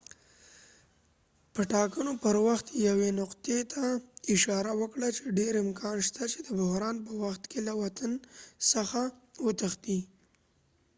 hsieh د ټاکنو پر وخت یوې نقطې ته اشاره وکړله چې ډیر امکان شته چې ma د بحران په وخت کې له وطن څخه وتښتي